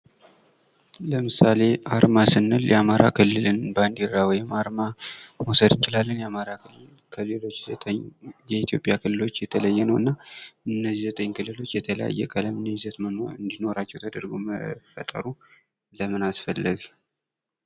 ለምሳሌ አርማ ስንል የአማራ ክልልን ባንዲራ ማሳየት እንችላለን ።ከሌሎች ክልሎች የተለየ አርማ አለው። እነዚህ ዘጠኝ ክልሎች የተለያየ ቀለም እንዲኖራቸው ተደርጎ የተሰራ ነው ።